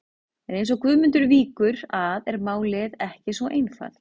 En eins og Guðmundur víkur að er málið ekki svo einfalt.